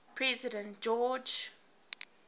president george